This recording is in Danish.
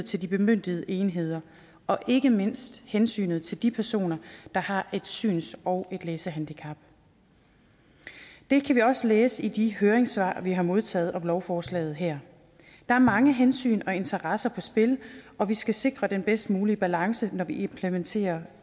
til de bemyndigede enheder og ikke mindst hensynet til de personer der har et syns og et læsehandicap det kan vi også læse i de høringssvar vi har modtaget om lovforslaget her der er mange hensyn og interesser på spil og vi skal sikre den bedst mulige balance når vi implementerer